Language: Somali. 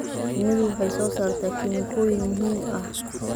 Shinnidu waxay soo saartaa kiimikooyin muhiim ah.